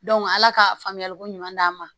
ala ka faamuyali ko ɲuman d'an ma